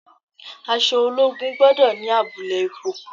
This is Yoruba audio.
Aṣọ ológun gbọ́dọ̀ ni abulẹ ipò.